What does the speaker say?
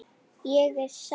Ég er sár.